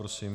Prosím.